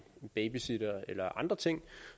babysitter eller andre ting